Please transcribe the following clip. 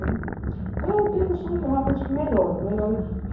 né. Então, eu tenho um sonho realmente que melhore, melhore